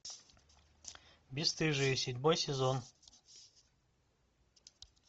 бесстыжие седьмой сезон